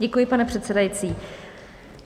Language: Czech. Děkuji, pane předsedající.